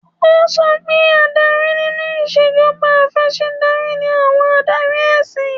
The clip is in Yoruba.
Ó sọ pé adarí nínú ìṣèjọba Afẹ̀sìndarí ni àwọn Adarí ẹ̀siy